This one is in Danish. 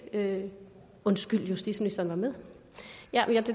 undskyld justitsministeren var med jeg